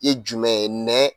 Ye jumɛn ye, nɛn